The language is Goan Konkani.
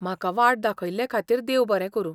म्हाका वाट दाखयल्ले खातीर देव बरें करूं.